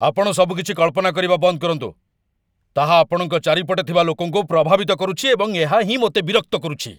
ଆପଣ ସବୁକିଛି କଳ୍ପନା କରିବା ବନ୍ଦ କରନ୍ତୁ। ତାହା ଆପଣଙ୍କ ଚାରିପଟେ ଥିବା ଲୋକଙ୍କୁ ପ୍ରଭାବିତ କରୁଛି ଏବଂ ଏହା ହିଁ ମୋତେ ବିରକ୍ତ କରୁଛି।